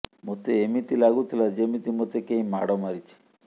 ମୋତେ ଏମିତି ଲାଗୁଥିଲା ଯେମିତି ମୋତେ କେହି ମାଡ଼ ମାରିଛି